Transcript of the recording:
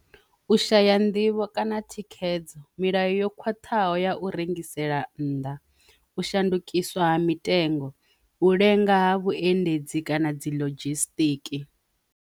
U shaya nḓivho kana thikhedzo milayo yo khwaṱhaho ya u rengisela nnḓa, u shandukiswa ha mitengo, u lenga ha vhuendedzi kana dzi lodzhisitiki.